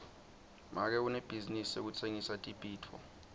make unebhizinisi yekutsengisa tibhidvo